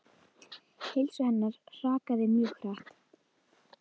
Heilsu hennar hrakaði mjög hratt.